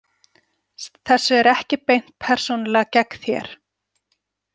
Þessu er ekki beint persónulega gegn þér.